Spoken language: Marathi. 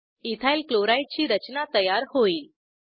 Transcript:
इथाइल क्लोराइड ची रचना तयार होईल